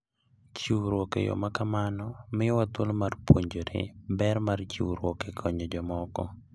Chiwruok e yo ma kamano miyowa thuolo mar puonjore ber mar chiwruok e konyo jomoko.